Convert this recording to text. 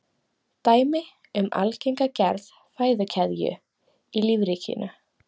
Dæmi um algenga gerð fæðukeðju í lífríkinu.